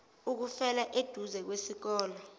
ukufela eduze kwesikole